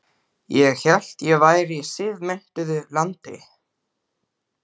Ég hélt ég væri í siðmenntuðu landi.